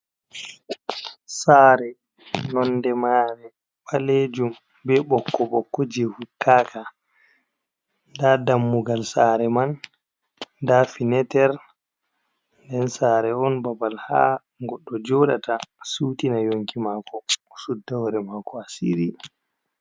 Saare nonde mare ɓalejum be ɓokko ɓokko je huttaka, nda dammugal saare man, nda fineter, nden saare on babal ha goɗɗo joɗata sutina nyonki mako sudda wore mako a siri.